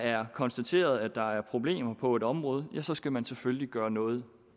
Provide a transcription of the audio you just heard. er konstateret at der er problemer på et område så skal man selvfølgelig gøre noget